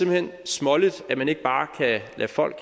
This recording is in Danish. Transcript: hen småligt at man ikke bare kan lade folk